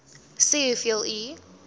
sê hoeveel u